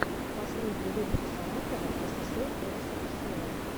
последний выпуск саратова ссср рсфср